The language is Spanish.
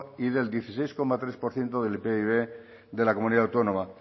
y del dieciséis coma tres por ciento del pib de la comunidad autónoma